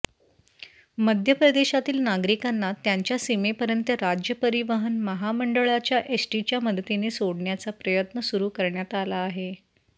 मध्यप्रदेशातील नागरिकांना त्यांच्या सीमेपर्यंत राज्य परिवहन महामंडाळाच्या एसटीच्या मदतीने सोडण्याचा प्रयत्न सुरू करण्यात आला आहे